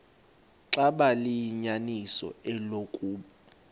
xaba liyinyaniso eloku